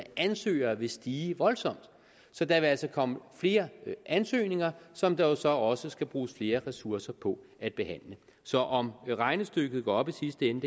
ansøgere vil stige voldsomt så der vil altså komme flere ansøgninger som der jo så også skal bruges flere ressourcer på at behandle så om regnestykket går op i sidste ende